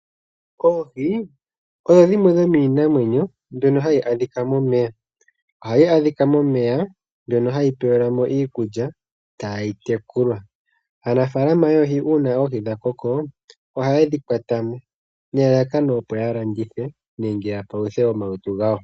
Oohi odho dhimwe dhomiinamwenyo mbyono hayi adhika momeya, ohayi adhika momeya mbyono hayi pelwa mo iikulya tayi tekulwa. Aanafalama yoohi uuna oohi dha koko ohaye dhi kwata mo, nelalakano opo ya landithe nenge ya paluthe omalutu gawo.